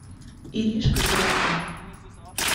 иришкой бровко